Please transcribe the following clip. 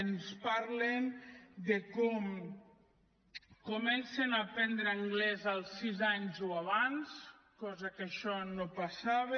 ens parlen de com comencen a aprendre anglès als sis anys o abans cosa que no passava